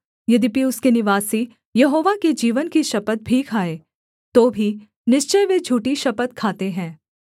यद्यपि उसके निवासी यहोवा के जीवन की शपथ भी खाएँ तो भी निश्चय वे झूठी शपथ खाते हैं